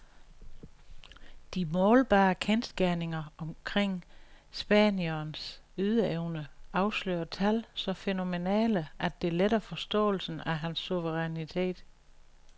De målbare kendsgerninger omkring spanierens ydeevne afslører tal så fænomenale, at det letter forståelsen af hans suverænitet.